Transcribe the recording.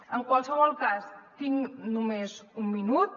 en qualsevol cas tinc només un minut